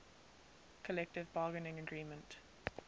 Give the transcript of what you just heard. collective bargaining agreement